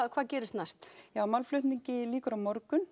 hvað gerist næst málflutning lykur á morgun